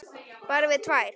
Bara við tvær.